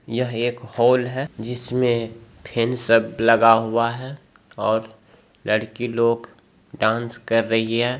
यह एक हॉल है जिसमें फैन सब लगा हुआ है और लड़की लोग डान्स कर रही है।